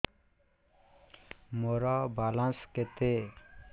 ମୋର ବାଲାନ୍ସ କେତେ